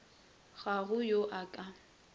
ga go yo a ka